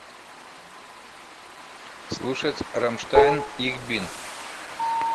слушать рамштайн их бин